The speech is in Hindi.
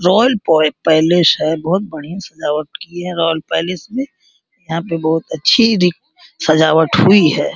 रॉयल पैलेस है बोहोत बढ़ियाँ सजावट की हैं रॉयल पैलेस में। यहाँ पे बोहोत अच्छी री सजावट हुई है।